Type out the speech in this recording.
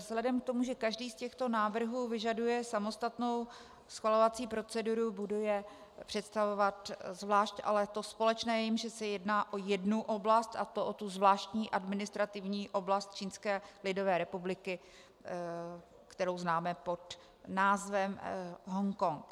Vzhledem k tomu, že každý z těchto návrhů vyžaduje samostatnou schvalovací proceduru, budu je představovat zvlášť, ale to společné je, že se jedná o jednu oblast, a to o tu Zvláštní administrativní oblast Čínské lidové republiky, kterou známe pod názvem Hongkong.